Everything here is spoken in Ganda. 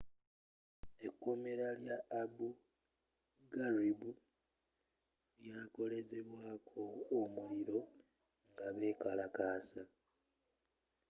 ekkomera lya abu gharib lyakolezebwaako omuliro nga bekalakasa